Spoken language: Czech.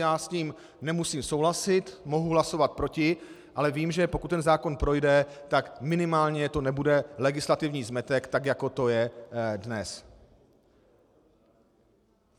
Já s ním nemusím souhlasit, mohu hlasovat proti, ale vím, že pokud ten zákon projde, tak minimálně to nebude legislativní zmetek, tak jako to je dnes.